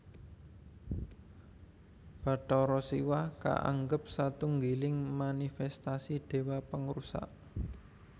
Bathara Siwah kaanggap satunggiling manifèstasi Déwa Pangrusak